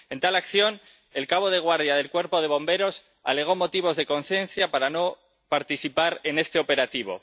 En tal acción, el cabo de guardia del Cuerpo de Bomberos alegó motivos de conciencia para no participar en ese operativo.